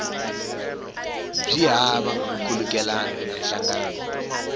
byi hava nkhulukelano na nhlangano